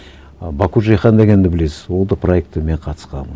ы баку джейхан дегенді білесіз ол да проекті мен қатысқанмын